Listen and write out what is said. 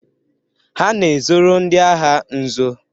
Ha na-ezoro ndị agha nzo.